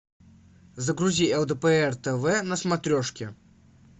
загрузи лдпр тв на смотрешке